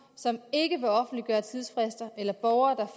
som ikke vil offentliggøre tidsfrister eller borgere